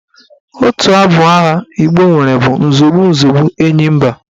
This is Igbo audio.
Otu abụ agha Igbo nwere bụ "Nzọgbu nzọgbu enyi mba"